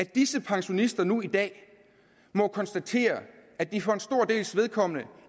disse pensionister nu i dag må konstatere at de for en stor dels vedkommende